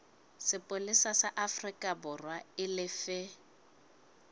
sepolesa sa aforikaborwa e lefe